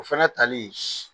O fana tali